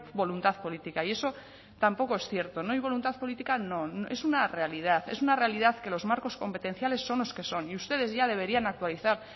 voluntad política y eso tampoco es cierto no hay voluntad política no es una realidad es una realidad que los marcos competenciales son los que son y ustedes ya deberían actualizar